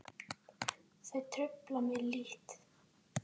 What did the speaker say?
Þau trufla mig lítt.